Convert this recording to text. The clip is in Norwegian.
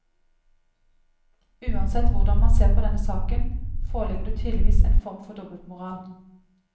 Uansett hvordan man ser på denne saken, foreligger det tydeligvis en form for dobbeltmoral.